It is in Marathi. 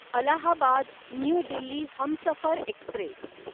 Allahabad new Delhi Humsafar Express